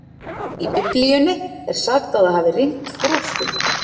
Í Biblíunni er sagt að það hafi rignt froskum.